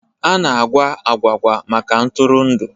A na-agwa agwụgwa maka ntụrụndụ.